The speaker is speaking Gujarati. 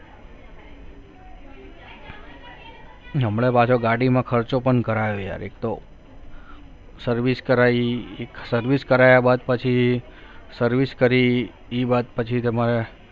હમણાં પાછો ગાડીમાં ખર્ચો પણ કરાવી યાર એક તો service કરાવી service કરાવ્યા બાદ પછી service કરી એ વાત પછી તમારે